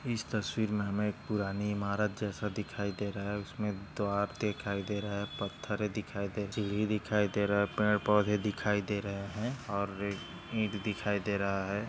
इस तस्वीर मै हमे एक पुरानी इमारत जैसा दिख दे रहा है उसमे द्वार दिखाई दे रहा है पथरे दिखाई देती है दिखाई दे रहे है पेड़ पौधे दिखाई दे रहे है और ईट दिखाई दे रहा है।